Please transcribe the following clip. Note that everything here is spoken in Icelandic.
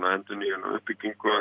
endurnýjun og uppbyggingu